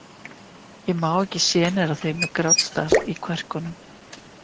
Ég má ekki sjenera þig með grátstaf í kverkum.